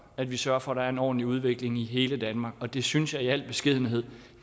at vi sørger for at der er en ordentlig udvikling i hele danmark og det synes jeg i al beskedenhed